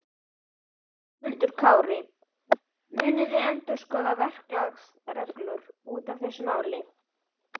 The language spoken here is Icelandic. Höskuldur Kári: Munuð þið endurskoða verklagsreglur út af þessu máli?